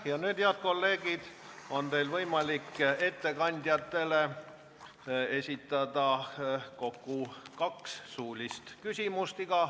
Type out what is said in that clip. Ja nüüd, head kolleegid, on teil võimalik ettekandjatele esitada kokku kaks suulist küsimust.